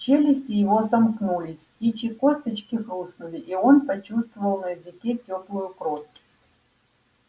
челюсти его сомкнулись птичьи косточки хрустнули и он почувствовал на языке тёплую кровь